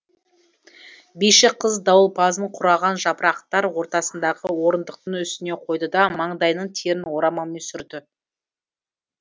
биші қыз дауылпазын қураған жапырықтар ортасындағы орындықтың үстіне қойды да маңдайының терін орамалмен сүртті